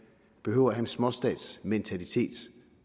behøver at have en småstatsmentalitet